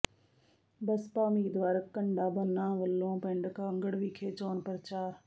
ਬਸਪਾ ਉਮੀਦਵਾਰ ਘੰਡਾਬੰਨਾ ਵੱਲੋਂ ਪਿੰਡ ਕਾਂਗੜ ਵਿਖੇ ਚੋਣ ਪ੍ਰਚਾਰ